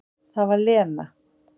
Það var Lena.